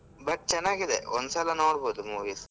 But ಚನ್ನಾಗಿದೆ ಒಂದ್ ಸಲ ನೋಡ್ಬೋದು movies .